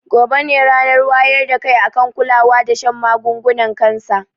Gobe ne ranar wayar da kai akan kulawa da shan magungunan kansa